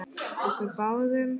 Okkur báðum?